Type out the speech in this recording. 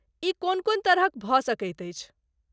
ई कोन कोन तरहक भऽ सकैत अछि?